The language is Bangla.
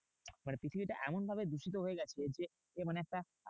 মানে পৃথিবীটা এমনভাবে দূষিত হয়ে গেছে যে, মানে একটা